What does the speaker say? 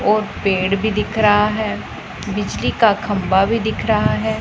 और पेड़ भी दिख रहा है बिजली का खंभा भी दिख रहा है।